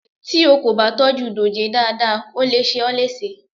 Tí o kò bá tọ́jú dòjé dáadáa, ó le ṣe ó léṣe.